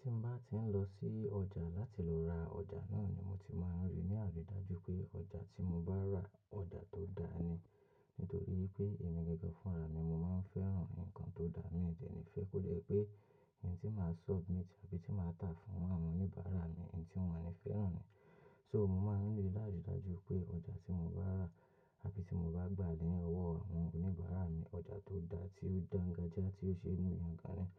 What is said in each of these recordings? Ti mo bá ti ń lọ sí ọjà láti lọ ra ọjà náà ni mo ti máa ń rí ní àrīdájù pé ọjà tí mo bá rà, ọjà tó dáa ni. Nítorí pé èmi gangan fúnra mi mo máa ń fẹ́ràn nǹkan tó dáa, mi dè ní fẹ́ pekó jè wí pé ntí màá submit àbí tí màá tà fún àwọn oníbàárà mi ntí wón ní fẹ́ràn ni. So mo máa ń rí ní àrídájù pé ọjà tí mo bá rà àbí tí mo bá gbà ní ọwọ́ àwọn oníbàárà mi, ọjà tó dá tí ó dáńgájíá tí ó ṣe mú yàngan ni.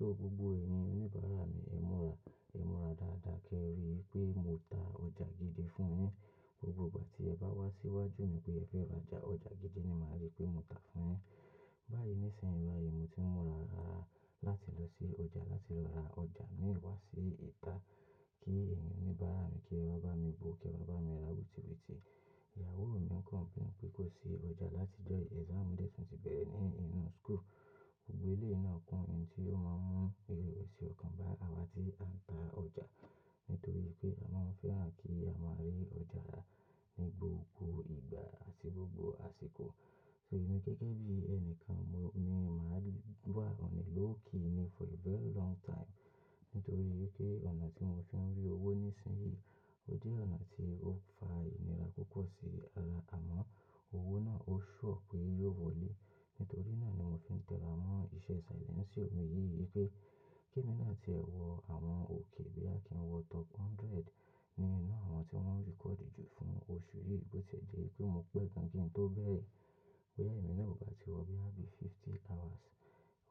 So, gbogbo ẹyin oní bàârà mi, e múra, emu ara dáadáa kí ẹri wípe mo ta ọjà gidi fún yín. Gbogbo ìgbà tí ẹ ba wá sí iwájú mi pé ẹ fé ra ọjà, ọjà gidi ni màa ri pe. Mo tà fún yiin. Báyìí nísinsìnyí báyìí mo ti ń múra láti lọ sí ọjà láti lọ ra ọjà mi wá sí ìta kí ènìyàn oníbàárà mi, kí ẹwà bá mi bó, kí ẹ wa bá mi ra wùtìwùtì. Ìyàwó mi ń complain pé kò sí ọjà láti ọjọ́ yìí, exam dẹ́ tùn ti bẹ̀rẹ̀ ní inú school. Gbogbo eleyii náà kún, èyí tí ó máa ń mú ìrẹ̀wẹ̀sì ọkàn bá awa tí a ń ta ọjà. Nítorí pé a máa ń fẹ́ràn kí a máa rí ọjà náà ní gbogbo ìgbà, sí gbogbo àsìkò. So èmi gẹ́gẹ́ bí ẹni kan mo, mi o marry wà on a lókì ni for a very long time. Nítorí wípé ọ̀nà tí mo fi ń rí owó nísinsìnyí, ó jẹ́ ọ̀nà tí ó ń fa ìnira púpọ̀ sí ara àmọn owó náà, ó sure pé yóò wọlé. Nítorí náà ni mo fi ń tẹ̀lé àwọn iṣẹ́ silenceo mi yìí wipé kí èmi náà tí ẹ wọ àwọn òkè bí kí n wọ top hundred nínú àwọn tí wọ́n record jù fún oṣù yìí bó ti ẹ̀ jẹ́ wípé mo pẹ́ gan kí n tó bẹ́ẹ̀. Bóyá èmi náà ò bá ti wọ boya bí fifty hours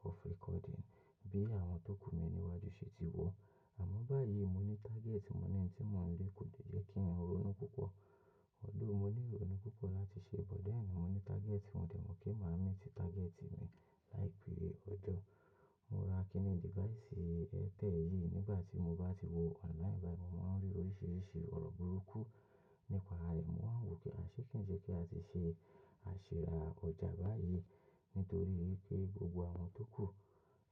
of recording bí àwọn tó kú mi níwájú ṣe ti wọ̀. Àmọ́ báyìí mo ní target, mo ní ohun tí mò ń lé kò lè jẹ́ kí èmi ronú púpọ̀. Although mo ní ìrònú púpọ̀ láti ṣe, but then mo ní target, mo dẹ̀ mó pé màá meet target mi láìpẹ́ ọjọ́. Mo ra kinńí device ẹ̀ẹtẹ̀li yìí nígbà tí mo bá ti wọ online báyìí, mo máa ń rí oríṣiríṣi ọ̀rọ̀ burúkú nípa ẹ̀. Mo wáa ń wò pé àṣé kí ni ṣe kí a tì ṣe àṣi ra ọjà báyìí. Nítorí wipé gbogbo àwọn tó kú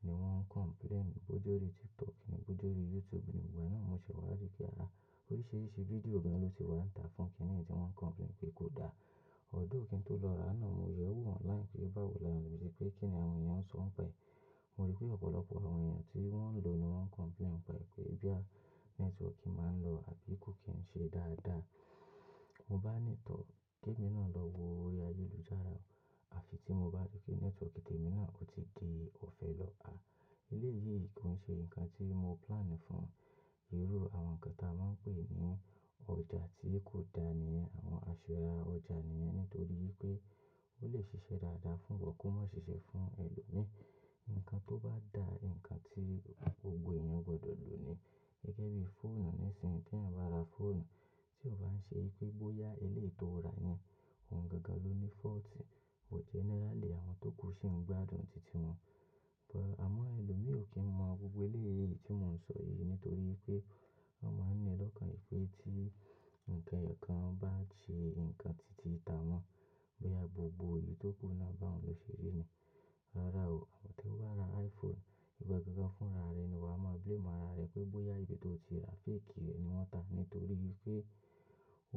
ni wọ́n complain bòjẹ̀ orí TikTok ní, bòjẹ́ orí YouTube. Nígbà náà mo ṣẹ̀ wá rí pé aa oríṣiríṣi fídíò gan ló ti wà ń tà fún kínni yii tí wọ́n complain pé kò dáa. Although kín tó lọ ra á náà mo yẹ̀ ẹ́ wò online pé báwo là wọn èèyàn ṣe pé kín ni àwọn èèyàn ńṣọ nípa ẹ̀. Mo rí pé ọ̀pọ̀lọpọ̀ àwọn èèyàn tí wọ́n ń lò ni wọ́n complain pẹ̀ pé boya network máa ń lọ àbí kò kí ń ṣe dáadáa. Mo bá ní too kí èmi náà lọ wo orí ayélujára àfi tí mo bá rí pé network tèmi náà ó ti di òfẹ́ lọ. À, eléyìí kò ń ṣe nǹkan tí mo plan fún. Irú àwọn nǹkan tí a máa ń pè ní ọjà tí kò dáa ni àwọn àṣìra ọjà ni yìí nítorí wí pé ó lè ṣiṣẹ́ dáadáa fún ìwọ, kó má ṣiṣẹ́ fún ẹlòmíí. Nǹkan tó bá dá, nǹkan tí gbogbo èèyàn gbọdọ̀ lò ni gẹ́gẹ́ bí fóònù nísinsìnyí tí èèyàn bá ra fóònù tí ò bá ń ṣe wí pé bóyá eléyìí tó ra yìí, òun gangan ló ní fault. But generally àwọn tó kú ṣì ń gbádùn tìtì wọn. But àmọ́ ẹlòmíì ò kí ń mọ gbogbo eléyìí tí mò ń sọ yìí nítorí wí pé wọn máa ń ní lọ́kàn pé tí nǹkan ẹyọ̀kan bá ṣe nǹkan tìtì tà wọn, bóyá gbogbo èyí tó kú náà báhuń ló ṣé ré ni un. Rárá o, tí o bá ra iPhone, ìwọ gangan fúnra rẹ ni wà á mọ blame ara rẹ pé bóyá ibi tó o ti ra fake rẹ̀ ni wọ́n tà. Nítorí pé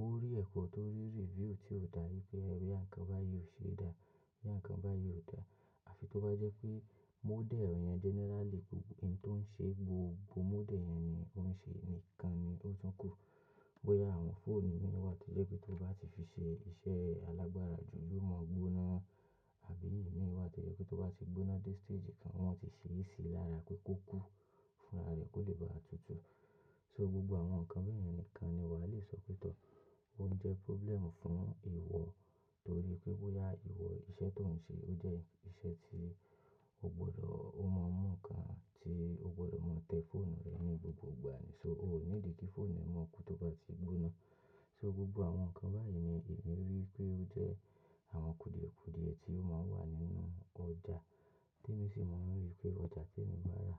ó rare koo tó rí review tí ó dà wí pé o yá nǹkan báyìí ò ṣe é dá, bóyá àwọn nǹkan báyìí ò dá. Àfi tó bá jẹ́ pé model yẹn generally gbogbo ohun tí ó ń ṣe gbogbo model yẹn ni ó ń ṣe nìkan ni ó tún kù. Bóyá àwọn fóònù mìíràn tó jẹ́ pé tó bá ti fi ṣe iṣẹ́ alágbára jù yóò mọ́ gbóná. Àbí imii wá to jẹ́ pé tó bá ti gbóná dé stage kan wọ́n ti ṣee sì lára pé kó kú fúnra rẹ̀ kó lè bá a tutù. So gbogbo àwọn nǹkan bayẹn nìkan ni wà á lè sọ pé tọ̀ọ́ ó ń jẹ́ problem fún ìwọ nítorí pé bóyá ìwọ iṣẹ́ tó ń ṣe ó jẹ́ iṣẹ́ tí o gbọdọ̀ ó máa mú nǹkan tí o gbọdọ̀ máa tẹ́ fóònù rẹ ní gbogbo ìgbà ni. So o ò níìdi kí fóònù ẹ́ máa kú tó bá ti gbóná. So gbogbo àwọn nǹkan báyìí ni èmi rí wí pé ó jẹ́ àwọn kùdìẹ̀kùdìẹ tí ó máa ń wà nínú ọjà. Tí èmi sì mo ń rí pé ọjà tí èmi bá rà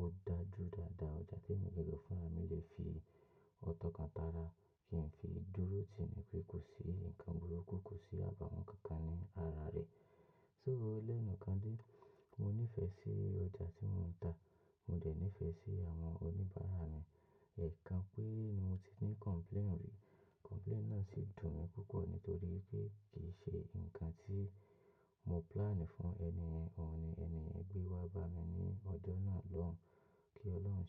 ó dájù dáadáa. Ọjà tí èmi gangan fúnra mi lè fi ọ̀ tọ̀kan tàrà kí n fi dúró tìní pé kò sí nǹkan burúkú, kò sí àbàwọ́n kankan ní ara rẹ̀. So ó lẹ́nu kan dé, mo níìfẹ̀ sí ọjà tí mò ń tà, mo dẹ̀ níìfẹ̀ sí àwọn oníbàárà mi. Ẹ̀ẹ̀kan pére ni mo ti ní complain rí, complain náà sì dùn mí púpọ̀ nítorí pé kì í ṣe nǹkan tí mo plan fún ẹni yẹn, òun ni ẹni yen gbẹ́ wá bá mi ní ọjọ́ náà lọ́hùn-ún kí Ọlọ́run ṣe.